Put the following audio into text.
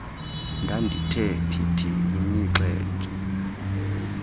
ndandithe phithi yimixhentso